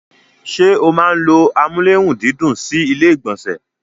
ṣé o máa n ló amúlérùndídùn sí ilé ìgbọ̀nsẹ̀?